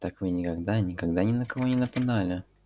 так вы никогда никогда ни на кого не нападали